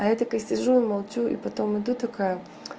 я такая сижу и молчу и потом иду такая